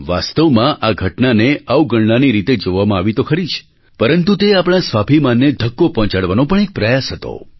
વાસ્તવમાં આ ઘટનાને અવગણનાની રીતે જોવામાં આવી તો ખરી જ પરંતુ તે આપણા સ્વાભિમાનને ધક્કો પહોંચાડવાનો પણ એક પ્રયાસ હતો